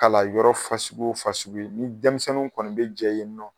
Kala yɔrɔ fasugu o fasugu ye ni dɛmisɛnninw kɔni be jɛ yen nɔ